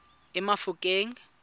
emafikeng